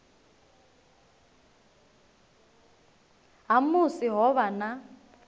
ha musi ho vha na